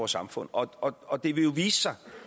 samfund og det vil jo vise sig